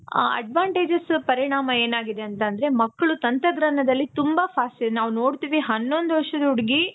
ಆ advantages ಪರಿಣಾಮ ಏನಾಗಿದೆ ಅಂತ ಅಂದ್ರೆ ಮಕ್ಕಳು ತಂತ್ರಜ್ಞಾನದಲ್ಲಿ ತುಂಬಾ fast. ನಾವು ನೋಡ್ತಿವಿ ಹನ್ನೊಂದು ವರ್ಷದ ಹುಡುಗಿ